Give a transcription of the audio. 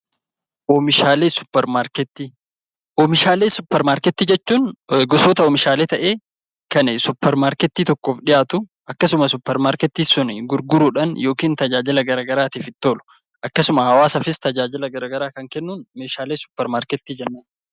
Oomishaalee suuparmaarketii jechuun gosoota oomishaalee ta'ee, kan suuparmaarketii tokkoof dhiyaatu akkasumas suuparmaarketii sun gurguruudhaan yookiin tajaajila gara garaatiif itti oolu akkasuma hawaasaatiifis tajaajila gara garaa kan kennuun meeshaalee suuparmaarketii jenna.